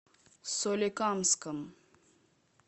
соликамском